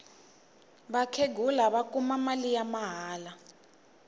vakhenghula va kuma mali ya mahala